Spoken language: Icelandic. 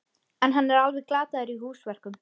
En hann er alveg glataður í húsverkum.